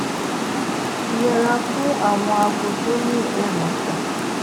yẹra fún àwọn àgó tó ní ẹròfò